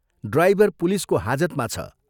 Driver पुलिसको हाजतमा छ।